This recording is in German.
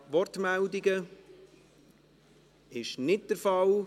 – Dies ist nicht der Fall.